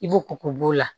I b'o k k'o b'o la